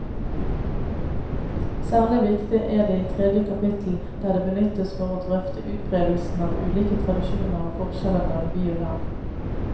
Særlig viktig er det i tredje kapittel, der det benyttes for å drøfte utbredelsen av ulike tradisjoner og forskjeller mellom by og land.